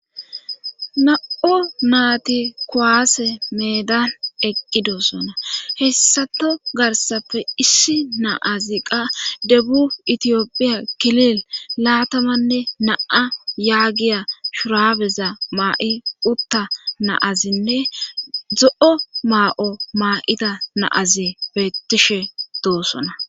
Na7o naati kuwaase meedan eqqidosona hessato garsafe issi naazi qa debu itiyophiya kilil laatamanne na7a yaagiya shuraabeza maa7i utta naazinne zo7o maa7o maa7ida naazi bettishe doosona.